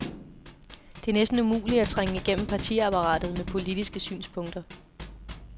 Det er næsten umuligt at trænge igennem partiapparatet med politiske synspunkter.